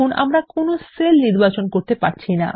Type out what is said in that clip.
আমরা কোন সেল নির্বাচন করতে পারছি নি160